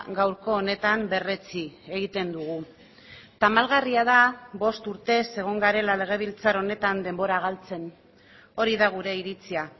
gaurko honetan berretsi egiten dugu tamalgarria da bost urtez egon garela legebiltzar honetan denbora galtzen hori da gure iritzia